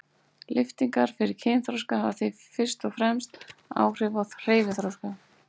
Lyftingar fyrir kynþroska hafa því fyrst og fremst áhrif á hreyfiþroska.